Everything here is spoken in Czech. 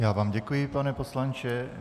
Já vám děkuji, pane poslanče.